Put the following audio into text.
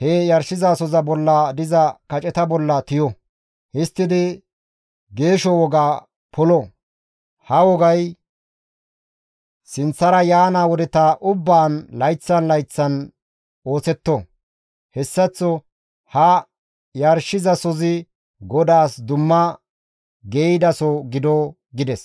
he yarshizasoza bolla diza kaceta bolla tiyo. Histtidi geesho wogaa polo. Ha wogay sinththara yaana wodeta ubbaan layththan layththan ooththetto. Hessaththo ha yarshizasozi GODAAS dumma geeyidaso gido» gides.